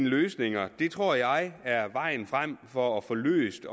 løsninger tror jeg er vejen frem for at få løst